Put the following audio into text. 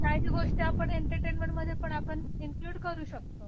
आणि राहिली गोष्ट आपण एंटरटेनमेंटमध्ये आपण इनक्लुड करू शकतो